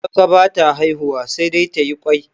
Tsaka ba ta haihuwa sai dai tayi ƙwai